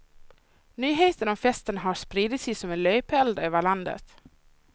Nyheten om festen har spridit sig som en löpeld över landet.